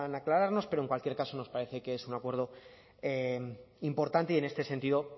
aclararnos pero en cualquier caso nos parece que es un acuerdo importante y en este sentido